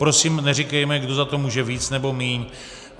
Prosím, neříkejme, kdo za to může víc, nebo míň.